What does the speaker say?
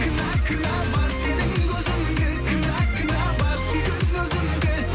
кінә кінә бар сенің көзіңде кінә кінә бар сүйген өзімде